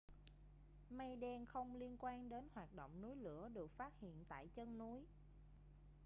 mây đen không liên quan đến hoạt động núi lửa được phát hiện tại chân núi